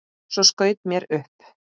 Svo skaut mér upp.